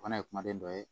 O fana ye kumaden dɔ ye